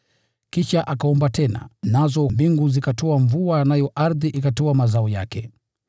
Kisha akaomba tena, nazo mbingu zikatoa mvua nayo ardhi ikatoa mazao yake.